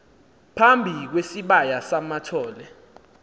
phambi kwesibaya samathole